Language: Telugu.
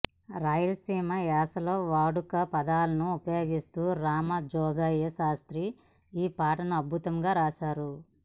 రాయలసీమ యాసలో వాడుక పదాలను ఉపయోగిస్తూ రామజోగయ్య శాస్త్రి ఈ పాటను అద్భుతంగా రాశారు